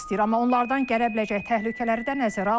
Amma onlardan gələ biləcək təhlükələri də nəzərə alır.